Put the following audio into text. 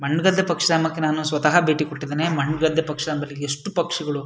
ಮಣ್ಣ್ ಗದ್ದೆ ಪಕ್ಷ ಅನ್ನೋಕೆ ನಾನು ಸ್ವತಃ ಭೇಟಿ ಕೊಟ್ಟಿದ್ದೇನೆ ಮಣ್ಣ್ ಗದ್ದೆ ಪಕ್ಷ ಅಂದ್ರೆ ಎಷ್ಟು ಪಕ್ಷಗಳು--